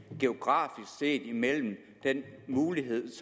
mellem hvilke muligheder